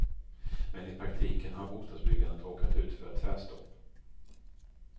Men i praktiken har bostadsbyggandet råkat ut för ett tvärstopp.